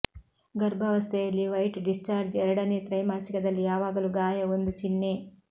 ಗರ್ಭಾವಸ್ಥೆಯಲ್ಲಿ white discharge ಎರಡನೇ ತ್ರೈಮಾಸಿಕದಲ್ಲಿ ಯಾವಾಗಲೂ ಗಾಯ ಒಂದು ಚಿಹ್ನೆ